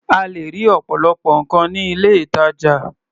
O lè rí ọ̀pọ̀lọpọ̀ nǹkan ní ilé-ìtajà.